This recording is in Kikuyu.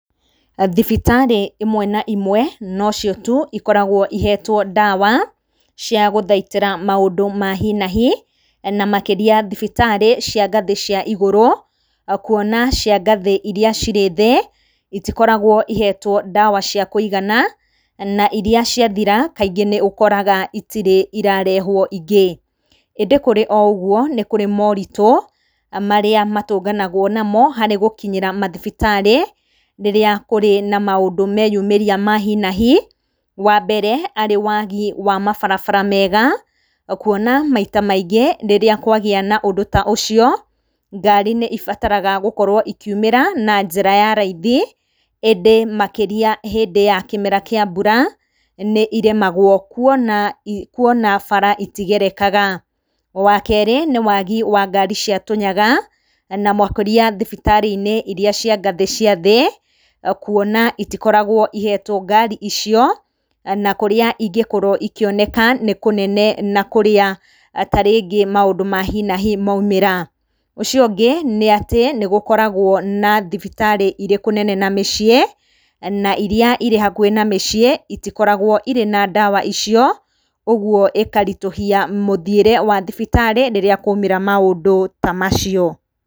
Thibitarĩ imwe na imwe no cio tu ikoragwo ihetwo ndawa cia gũthaitĩra maũndũ ma hi na hi, na makĩria thibitarĩ cia ngathĩ cia igũrũ, kuona cia ngathĩ iria cirĩ thĩ itikoragwo ihetwo ndawa cia kũigana, na iria ciathira kaingĩ nĩ ũkoraga itirĩ irarehwo ingĩ. ĩndĩ kũrĩ o ũguo nĩ kũrĩ moritũ marĩa matũnganagwo namo harĩ gũkinyĩra mathibitarĩ ríĩĩa kũrĩ na maũndũ meyuĩria ma hi na hi, wa mbere arĩ wagi wa mabarabara mega, kuona maita maingĩ rĩrĩa kwagĩa na ũndũ ta ũcio, ngari nĩ ibataraga gũkorwo ikiumĩra na njĩra ya raithi. ĩndĩ makĩria hĩndĩ ya kĩmera kĩa mbura nĩ irĩmagwo kuona bara itigerekaga. Wa kerĩ nĩ wagi wa ngari cia tũnyaga na makiria thibitarĩ-inĩ iria cia ngathĩ cia thĩ, kuona itikoragwo iheetwo ngari icio, na kũrĩa ingĩkorwo ikioneka nĩ kũnene na kũrĩa ta rĩngĩ maũndũ ma hi na hi maumĩra. Ũcio ũngĩ nĩ atĩ nĩ gũkoragwo na thibitarĩ irĩ kũnene na mĩciĩ na iri irĩ hakuhĩ na mĩciĩ itikoragwo irĩ na ndawa icio, ũguo ĩkaritũhia mũthiĩre wa thibitarĩ rĩrĩa kwaumĩra maũndũ ta macio.